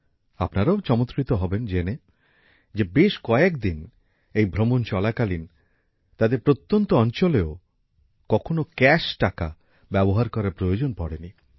আপনারাও চমৎকৃত হবেন জেনে যে বেশ কয়েকদিন এই ভ্রমণ চলাকালীন তাদের প্রত্যন্ত অঞ্চলেও কখনো নগদ টাকা ব্যবহার করার প্রয়োজন পড়েনি